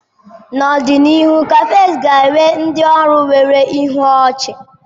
N'ọdịnihu, cafes ga-enwe ndị ọrụ nwere ihu ochi.